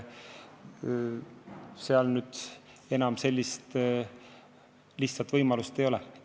Sellist lihtsat võimalust enam ei ole.